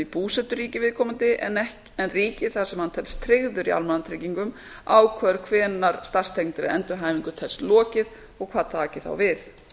í búseturíki viðkomandi en ríkið þar sem hann telst tryggður í almannatryggingum ákveður hvenær starfstengdri endurhæfingu telst lokið og hvað taki þá við